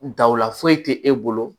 Daw la foyi tɛ e bolo